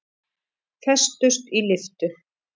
Festust í lyftu